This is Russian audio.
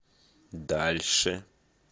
дальше